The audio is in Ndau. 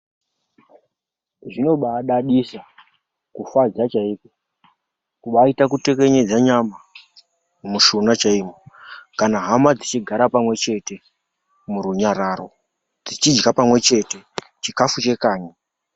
Zvinobadadisa, kufadza chaiko, kubaita kutekenyedza nyama, mushuna chaiwo kana hama dzichigara pamwe chete murunyararo, tichidya pamwe chete chikafu chekanyi.